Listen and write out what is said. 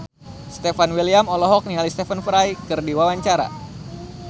Stefan William olohok ningali Stephen Fry keur diwawancara